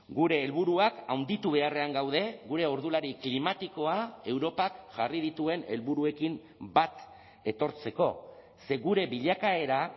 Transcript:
gure helburuak handitu beharrean gaude gure ordulari klimatikoa europak jarri dituen helburuekin bat etortzeko ze gure bilakaera